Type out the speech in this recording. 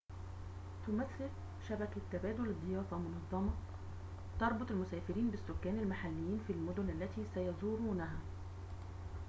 تمثل شبكة تبادل الضيافة منظمة تربط المسافرين بالسكان المحليين في المدن التي سيزورونها